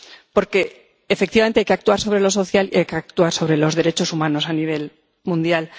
Porque, efectivamente, hay que actuar sobre lo social y hay que actuar sobre los derechos humanos a nivel mundial.